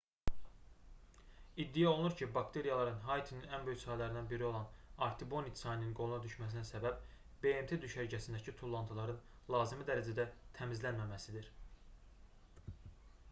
i̇ddia olunur ki bakteriyaların haitinin ən böyük çaylarından biri olan artibonit çayının qoluna düşməsinə səbəb bmt düşərgəsindəki tullantıların lazımi dərəcədə təmizlənməməsidir